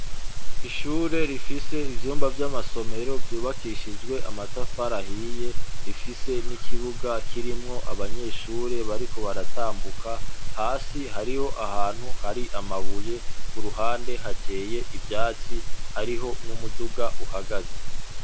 Ishure rifise ivyumba vy'amasomero vyubakishijwe amatafarahiye rifise n'ikibuga kirimwo abanyeshure bariko baratambuka hasi hariho ahantu hari amabuye ku ruhande hateye ivyatsi hariho n'umuduga uhagaze.